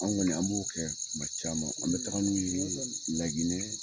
Anw kɔni an b'o kɛ kuma caman na an bɛ taga n'u LAGINƐ.